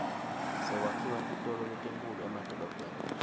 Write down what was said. sekwakhiwa titolo letinkhulu emadolobheni